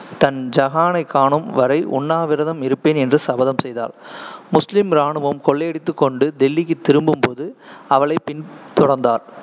தன் ஜகானைக் காணும் வரை உண்ணாவிரதம் இருப்பேன் என்று சபதம் செய்தாள் முஸ்லீம் இராணுவம் கொள்ளையடித்துக்கொண்டு டெல்லிக்குத் திரும்பும்போது அவளைப் பின்தொடர்ந்தார்.